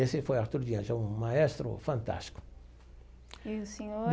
Esse foi Arturo, um maestro fantástico. E o senhor.